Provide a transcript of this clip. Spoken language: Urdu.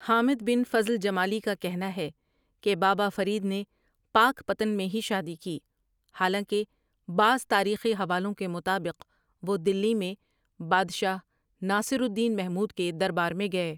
حامد بن فـضل جمالی کا کہنا ہے کہ بابا فرید نے پاکپتن میں ہی شادی کی حالانکہ بعض تاریخی حوالوں کے مطابق وہ دلی میں بادشاہ ناصرالدین محمود کے دربار میں گئے ۔